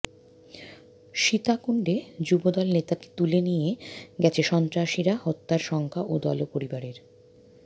সীতাকুণ্ডে যুবদল নেতাকে তুলে নিয়ে গেছে সন্ত্রাসীরা হত্যার শঙ্কা দল ও পরিবারের